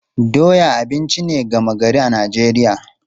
Doya abinci ne gama gari a Najeriya.